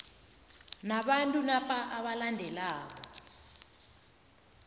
nabantu napa abalandelako